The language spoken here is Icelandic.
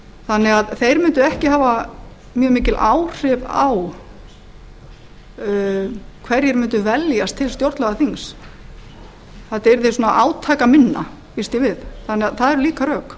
þannig að þeir mundu ekki hafa mjög mikil áhrif á hverjir mundu velja slíkt stjórnlagaþing þetta yrði svona átakaminna býst ég við þannig að það eru líka rök